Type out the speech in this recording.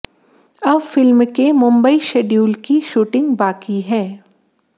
अब फिल्म के मुंबई शेड्यूल की शूटिंग बाकी है